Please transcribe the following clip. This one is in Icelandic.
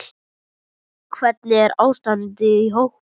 Hvernig er ástandið á hópnum?